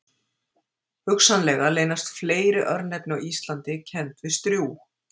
Hugsanlega leynast fleiri örnefni á Íslandi kennd við strjúg.